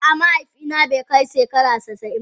A'a, mahaifi na be kai shegara casa'in ba.